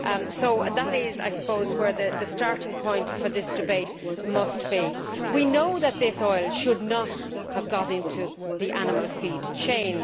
So that is, I suppose, where the starting point for this debate must be. We know that this oil should not have got into the animal feed chain.